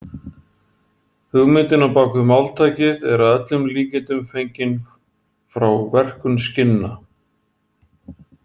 Hugmyndin á bak við máltækið er að öllum líkindum fengin frá verkun skinna.